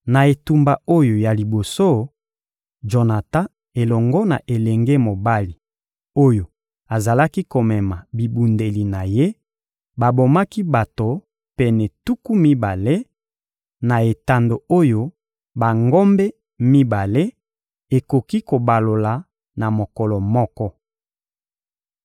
Na etumba oyo ya liboso, Jonatan elongo na elenge mobali oyo azalaki komema bibundeli na ye babomaki bato pene tuku mibale, na etando oyo bangombe mibale ekoki kobalola na mokolo moko.